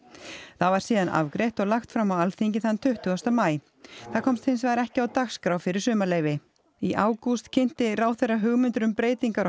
það var síðan afgreitt og lagt fram á Alþingi þann tuttugasta maí það komst hins vegar ekki á dagskrá fyrir sumarleyfi í ágúst kynnti ráðherra hugmyndir um breytingar á